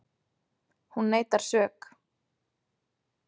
Hún neitar sök